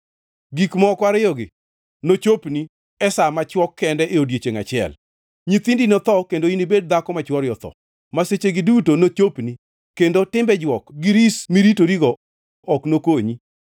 Gik moko ariyogi nochopni, e sa machwok kende e odiechiengʼ achiel: nyithindi notho kendo inibed dhako ma chwore otho. Masichegi duto nochopni, kendo timbe ajuoke gi ris miritorigo ok nokonyi.